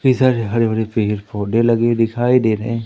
कई सारे हरे भरे पेड़ पौधे लगे दिखाई दे रहे--